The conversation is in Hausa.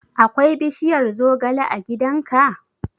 Akwai bishiyar zogale a gidan ka?